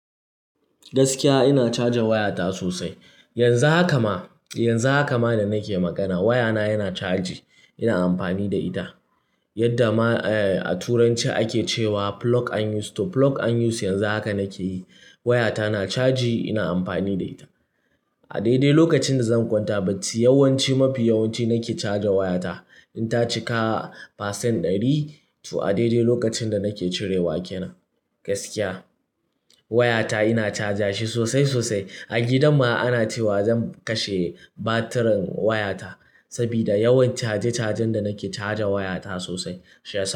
Gaskiya ina cajin wayata sosai. Yanzu haka ma, yanzu haka ma da nake magana wayana yana caji ina amfani da ita. Yadda ma, eh, a turanci ake cewa "plug and use" to plug and use yanzu haka nake yi. Wayata na caji ina amfani da ita. A daidai lokacin da zan kwanta bacci yawanci, mafi yawanci nake caja wayata. In ta cika pasen ɗari to a daidai lokacin da nake cirewa kenan. Gaskiya wayata ina caja shi sosai, sosai. A gidan ma ana cewa zan kashe batirin wayata sabida yawan caje-cajen da nake caja wayata sosai. Shi yas.